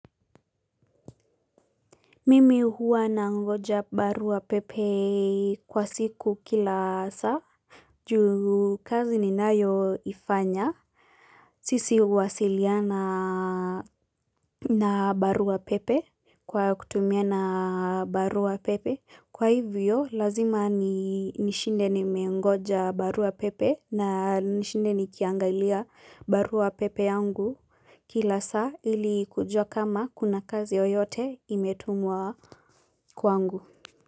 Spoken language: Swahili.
Mimi huwa nangoja barua pepe kwa siku kila saa juu kazi ninayoifanya sisi huwasiliana na barua pepe Kwa kutumia na barua pepe Kwa hivyo lazima ni nishinde nimengoja barua pepe na nishinde nikiangalia barua pepe yangu kila saa ili kujua kama kuna kazi yoyote imetumwa kwangu.